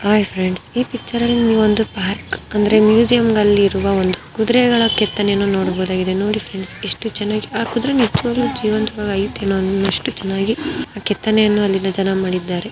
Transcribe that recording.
Hi friends ಇ ಪಿಚರ್ನಲ್ಲಿ ನೀವು ಒಂದು ಪಾರಕ್ ಅಂದ್ರೆ ಒಂದು ಮ್ಯೂಸಿಯಂನಲ್ಲಿ ಇರುವ್ ಒಂದು ಕುದರೆಗಳ ಕೆತ್ತನೆಯನ್ನೂ ನೋಡಬಹುದು. ನೋಡಿ ಫ್ರೆಂಡ್ಸ್ ಎಸ್ಟು ಚೆನ್ನಾಗಿ ಆ ಕುದರೆನ್ ಎಷ್ಟು ಚೆನ್ನಾಗಿ ಜೀವಂತವಾಗಿ ಆಯ್ತೇನೋ ಅನ್ನೋಷ್ಟು ಚೆನ್ನಾಗಿ ಆ ಕೆತ್ತನೆಯನ್ನು ಅಲ್ಲಿನ ಜನ ಮಾಡಿದ್ದಾರೆ.